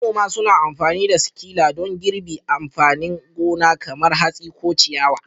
Manoma suna amfani da sikila don girbi amfanin gona kamar hatsi ko ciyawa.